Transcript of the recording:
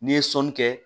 N'i ye sɔnni kɛ